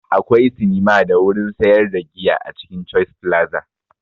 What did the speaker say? Akwai sinima da wurin sayar da giya a cikin choice flaza